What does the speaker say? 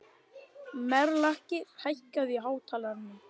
Melrakki, hækkaðu í hátalaranum.